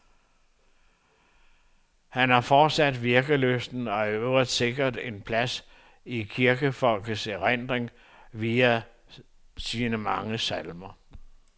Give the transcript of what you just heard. Han er fortsat virkelysten og er i øvrigt sikret plads i kirkefolkets erindring via sine mange salmer.